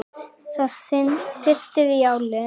Það syrtir í álinn.